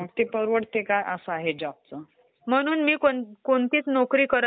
असते, सॉफ्टवेअर वरती.